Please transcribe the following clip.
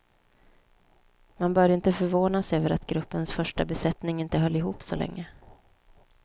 Man bör inte förvånas över att gruppens första besättning inte höll ihop så länge.